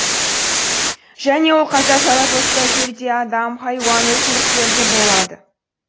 және ол қайта жаратылыста жер де адам хайуан өсімдіктер де болады